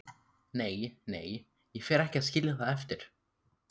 Nei, nei, ég fer ekki að skilja það eftir.